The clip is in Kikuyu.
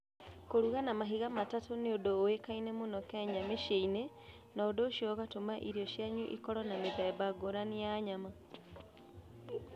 Kũruga na mahiga matatũ nĩ ũndũ ũĩkaine mũno Kenya mĩciĩ-inĩ, na ũndũ ũcio ũgatũma irio cianyu ikorũo na mĩthemba ngũrani ya nyama.